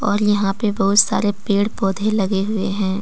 और यहां पे बहुत सारे पैड पौधे लगे हुए है।